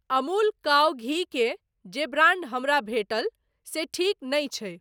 Amul cow घी के जे ब्रांड हमरा भेटल से ठीक नहि छै।